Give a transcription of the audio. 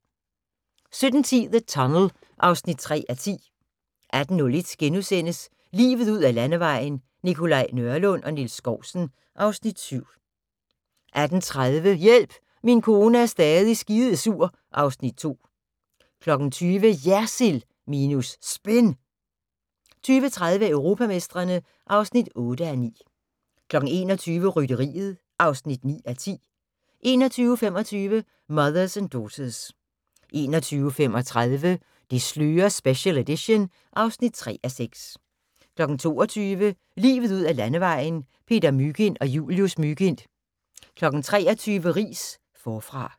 17:10: The Tunnel (3:10) 18:01: Livet ud ad Landevejen: Nikolaj Nørlund og Niels Skousen (Afs. 7)* 18:30: Hjælp, min kone er stadig skidesur (Afs. 2) 20:00: JERSILD minus SPIN 20:30: Europamestrene (8:9) 21:00: Rytteriet (9:10) 21:25: Mothers and Daughters 21:35: Det slører special edition (3:6) 22:00: Livet ud ad Landevejen: Peter Mygind og Julius Mygind 23:00: Riis -Forfra